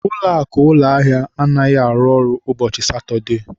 Ụlọakụ ụlọahịa anaghị arụ ọrụ ụbọchị Satọdee